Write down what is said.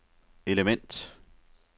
element